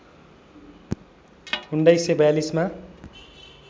१९४२मा